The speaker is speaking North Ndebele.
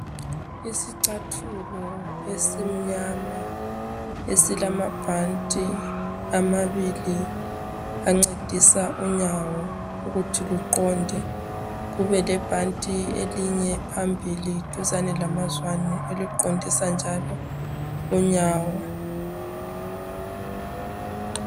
Isichathilo esimnyama esilamabhanti amabili ancedisa unyawo ukuthi luqonde kube lebhanti elinye phambili duzane lamazwane eliqondisa njalo unyawo